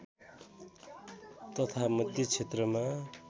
तथा मध्य क्षेत्रमा